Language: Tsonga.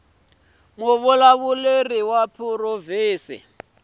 vulawuri bya provhinsi bya vunyiki